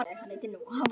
Hvernig svarar þú þeim?